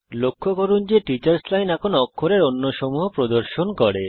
লক্ষ্য করুন যে টিচার্স লাইন এখন অক্ষরের অন্য সমূহ প্রদর্শন করে